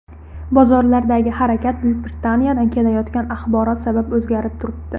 Bozorlardagi harakat Buyuk Britaniyadan kelayotgan axborot sabab o‘zgarib turibdi.